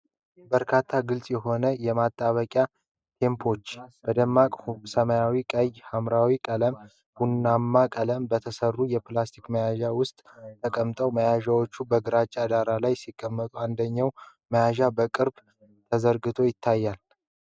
በርካታ ግልጽ የሆኑ የማጣበቂያ ቴፖች (glue tapes) በደማቅ ሰማያዊ፣ ቀይ፣ ሐምራዊና ቀላል ቡናማ ቀለም በተሰሩ የፕላስቲክ መያዣዎች ውስጥ ተቀምጠዋል። መያዣዎቹ በግራጫ ዳራ ላይ ሲቀመጡ፣ አንደኛው መያዣ በቅርብ ተዘርግቶ ይታያል።